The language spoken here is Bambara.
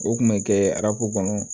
O kun bɛ kɛ arabu kɔnɔ